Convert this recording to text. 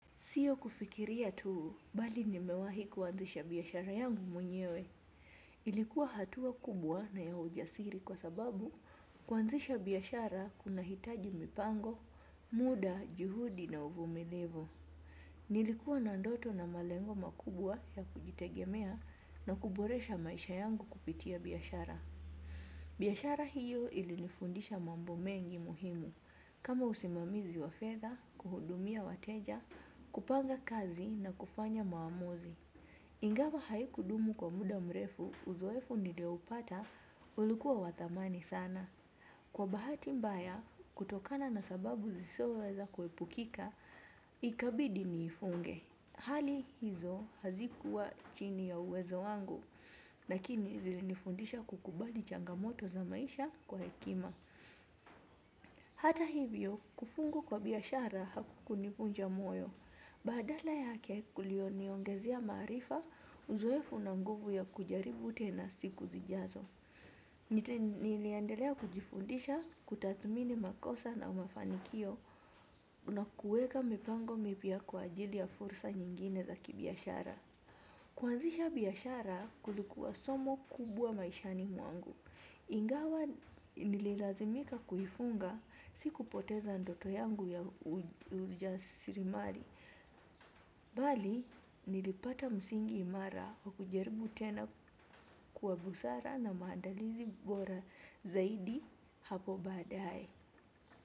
Sio kufikiria tu bali nimewahi kuanzisha biashara yangu mwenyewe. Ilikuwa hatua kubwa na ya ujasiri kwa sababu kuanzisha biashara kunahitaji mipango, muda, juhudi na uvumilivu. Nilikuwa na ndoto na malengo makubwa ya kujitegemea na kuboresha maisha yangu kupitia biashara. Biashara hiyo ilinifundisha mambo mengi muhimu, kama usimamizi wa fedha, kuhudumia wateja, kupanga kazi na kufanya maamuzi. Ingawa haikudumu kwa muda mrefu, uzoefu nilioupata ulikuwa wa thamani sana. Kwa bahati mbaya, kutokana na sababu zisizoweza kuepukika, ikabidi niifunge. Hali hizo hazikuwa chini ya uwezo wangu, lakini zilinifundisha kukubali changamoto za maisha kwa hekima. Hata hivyo, kufungwa kwa biashara hakukunivunja moyo. Badala yake kuliniongezea maarifa, uzoefu na nguvu ya kujaribu tena siku zijazo. Niliendelea kujifundisha, kutathimini makosa na mafanikio. Na kuweka mipango mipya kwa ajili ya fursa nyingine za kibiashara. Kuanzisha biashara kulikuwa somo kubwa maishani mwangu. Ingawa nililazimika kuifunga sikupoteza ndoto yangu ya ujasirimari. Bali nilipata msingi imara. Kujaribu tena kwa busara na maandalizi bora zaidi hapo baadaye.